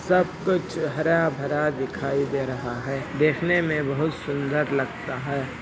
सब कुछ हरा भरा दिखाई दे रहा है देखने में बोहोत सूंदर लगता है।